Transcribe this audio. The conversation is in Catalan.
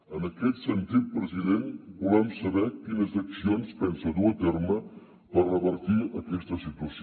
en aquest sentit president volem saber quines accions pensa dur a terme per revertir aquesta situació